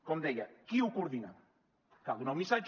com deia qui ho coordina cal donar un missatge